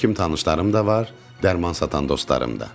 Həkim tanışlarım da var, dərman satan dostlarım da.